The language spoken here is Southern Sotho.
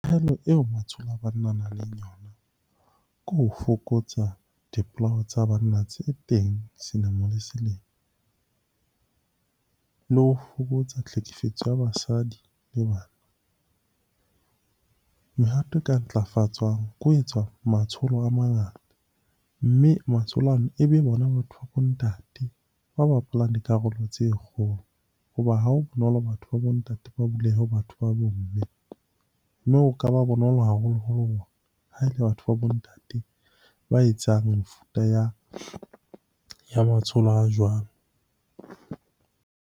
Eo matsholo a banna a nang le yona ke ho fokotsa dipolao tsa banna tse teng selemo le selemo. Le ho fokotsa tlhekefetso ya basadi le bana. Mehato e ka ntlafatsang ke ho etswa matsholo a mangata, mme matsholo ana ebe bona batho ba bo ntate ba bapalang dikarolo tse kgolo. Hoba ha ho bonolo batho ba bo ntate ba bulehe ho batho ba bo mme, mme ho ka ba bonolo haholoholo hore ha e le batho ba bo ntate ba etsang mefuta ya matsholo a jwalo.